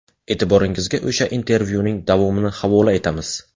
E’tiboringizga o‘sha intervyuning davomini havola qilamiz.